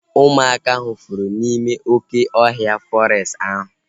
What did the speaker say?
Ụmụaka ahu fụrụ n'ime oké ọhịa fọrestị ahu